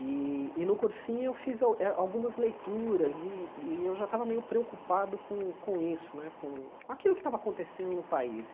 E e no cursinho eu fiz eh algumas leituras e e eu já estava meio preocupado com com isso né, com aquilo que estava acontecendo no país.